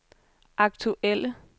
aktuelle